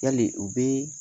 Yali u be